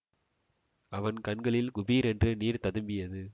அவன் கண்களில் குபீரென்று நீர் ததும்பியது